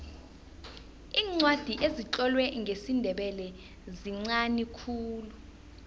iincwadi ezitlolwe ngesindebele zinqani khulu